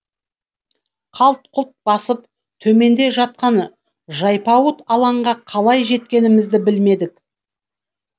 қалт құлт басып төменде жатқан жайпауыт алаңға қалай жеткенімізді білмедік